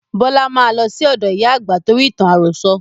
Bọlá máa lọ sí ọ̀dọ ìyá àgbà torí ìtàn àròsọ̀